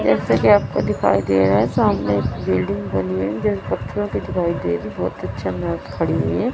जैसा कि आपको दिखाई दे रहा है सामने एक बिल्डिंग बनी हुई है --